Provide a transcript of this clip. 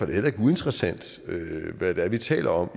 det heller ikke uinteressant hvad vi taler om